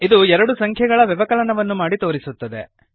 ಇದು ಎರಡು ಸಂಖ್ಯೆಗಳ ವ್ಯವಕಲನವನ್ನು ಮಾಡಿ ತೋರಿಸುತ್ತದೆ